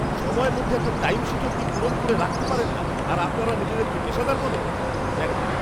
সময়ের মধ্যে একটা টাইমশীট অবধি পূরণ করে রাখতে পারেন না আর আপনারা নিজেদেরকে পেশাদার বলেন। ম্যানেজার